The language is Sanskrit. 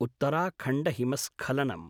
उत्तराखण्डहिमस्खलनम्